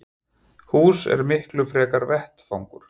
Hús er miklu frekar vettvangur.